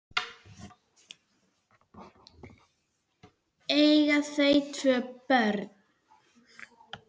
Eiga þau tvö börn.